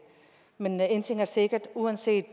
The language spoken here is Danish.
men en ting er sikkert uanset